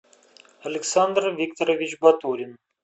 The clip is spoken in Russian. александр викторович батурин